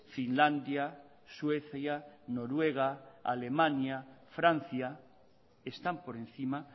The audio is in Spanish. finlandia suecia noruega alemania francia están por encima